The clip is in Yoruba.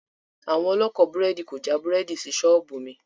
Àwọn ọlọ́kọ̀ búrẹ́dì kò já búrẹ́dì sí ṣọ́ọ̀bù mi